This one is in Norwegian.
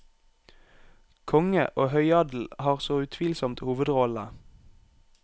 Konge og høyadel har så utvilsomt hovedrollene.